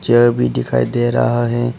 भी दिखाई दे रहा है।